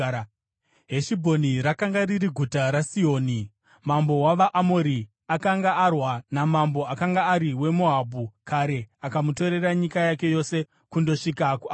Heshibhoni rakanga riri guta raSihoni mambo wavaAmori, akanga arwa namambo akanga ari weMoabhu kare akamutorera nyika yake yose kundosvika kuAnoni.